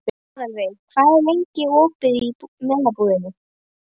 Aðalveig, hvað er lengi opið í Melabúðinni?